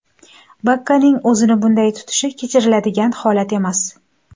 Bakkaning o‘zini bunday tutishi kechiriladigan holat emas.